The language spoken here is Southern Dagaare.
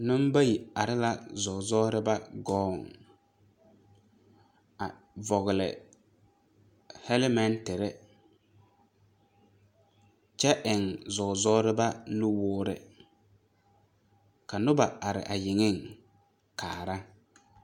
Neŋbayi are la zɔɔzɔreba gɔɔ a vɔgle hɛlɛmɛnterre kyɛ eŋ zɔɔzɔreba nuwoore ka noba are a yeŋeŋ kaara.